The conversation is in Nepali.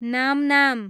नामनाम